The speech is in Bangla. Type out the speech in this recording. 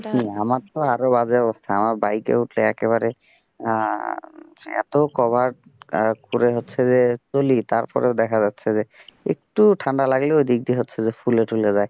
আমার তো আরো বাজে অবস্থা আমার বাইকে উঠলে একেবারে এত cover পরে হচ্ছে যে চলি, তারপরও দেখা যাচ্ছে যে একটু ঠান্ডা লাগলে ওই দিক দিয়ে হচ্ছে যে ফুলে টুলে যাই,